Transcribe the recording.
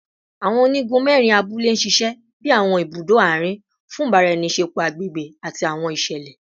Awọn onigun mẹrin abule ṣiṣẹ bi awọn ibudo aarin fun ibaraenisepo agbegbe ati awọn iṣẹlẹ